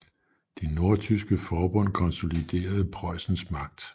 Det nordtyske forbund konsoliderede Preussens magt